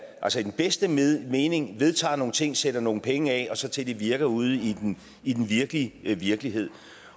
i den bedste mening vedtager nogle ting sætter nogle penge af og så til de virker ude i i den virkelige virkelighed